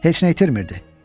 Heç nə itirmirdi.